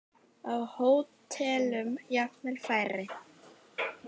Á hótelum jafnvel færri.